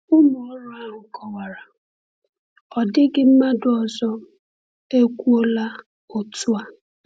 Ụmụ ọrụ ahụ kọwara: “Ọ dịghị mmadụ ọzọ ekwuola otu a.”